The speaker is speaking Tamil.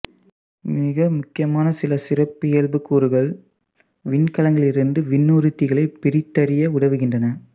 மிக முக்கியமான சில சிறப்பியல்புக்கூறுகள் விண்கலங்களிலிருந்து விண்ணூர்திகளை பிரித்தறிய உதவுகின்றன